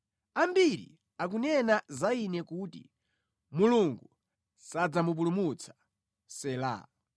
Ambiri akunena za ine kuti, “Mulungu sadzamupulumutsa.” Sela